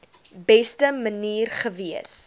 beste manier gewees